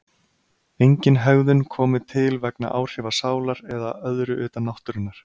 Engin hegðun komi til vegna áhrifa sálar eða öðru utan náttúrunnar.